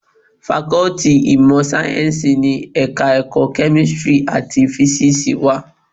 Fakọ́tì ìmọ̀ sáyẹ́ńsì ni Ẹ̀ka-ẹ̀kọ́ Kẹ́mísírì àti Físíìsì wà.